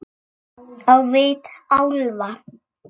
Á vit álfa.